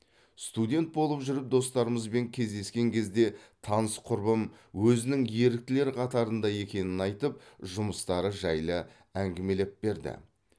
студент болып жүріп достарымызбен кездескен кезде таныс құрбым өзінің еріктілер қатарында екенін айтып жұмыстары жайлы әңімелеп берді